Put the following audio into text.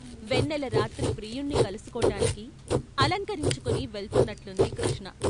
వెన్నెల రాత్రి ప్రియుణ్ణి కలుసుకో టానికి అలంకరించుకుని వెళ్తున్నట్లుంది కృష్ణ.